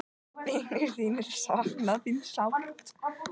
Vinir þínir sakna þín sárt.